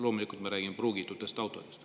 Loomulikult ma räägin pruugitud autodest.